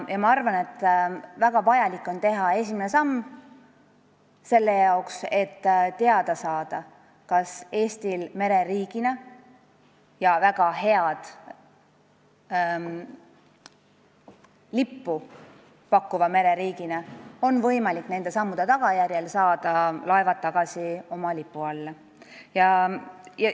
Ma arvan, et väga vajalik on teha esimene samm selleks, et teada saada, kas Eestil mereriigina – ja väga head lippu pakkuva mereriigina – on võimalik nende sammude tagajärjel laevad tagasi oma lipu alla saada.